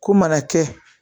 Ko mana kɛ